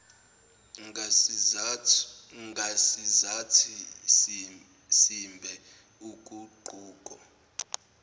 ngasizathi simbe uguquko